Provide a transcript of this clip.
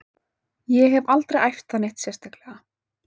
Ég hef aldrei æft það neitt sérstaklega.